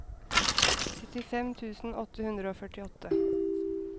syttifem tusen åtte hundre og førtiåtte